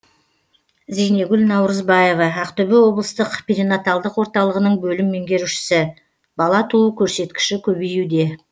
зейнегүл наурызбаева ақтөбе облыстық перинаталдық орталығының бөлім меңгерушісі бала туу көрсеткіші көбеюде